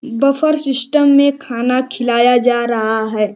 Buffer system में खाना खिलाया जा रहा है।